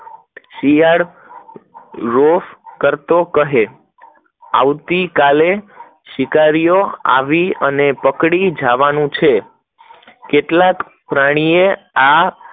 શિયાળ રોફ કરતો રહે, આવતી કાલે શિકારીઓ આવી ને પકડો જવનું છે કેટલાક પ્રાણીઓ આ